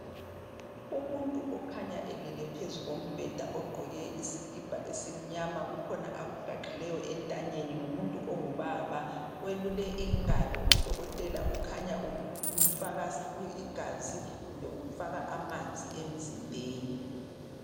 Umuntu ukhanya elele phezu kombheda, ogqoke isikipa esimnyama. Kukhona akugaxileyo entanyeni. Ngumuntu ongubaba. Welule ingalo, udokotela ukhanya umfaka igazi kumbe amanzi emzimbeni.